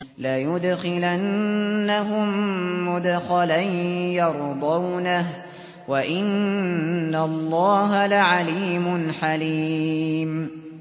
لَيُدْخِلَنَّهُم مُّدْخَلًا يَرْضَوْنَهُ ۗ وَإِنَّ اللَّهَ لَعَلِيمٌ حَلِيمٌ